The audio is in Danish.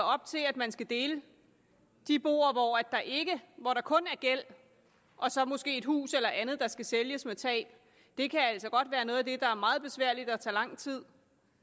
op til at man skal dele de boer hvor der kun er gæld og så måske et hus eller andet der skal sælges med tab det kan altså godt være noget af det der er meget besværligt og som tager lang tid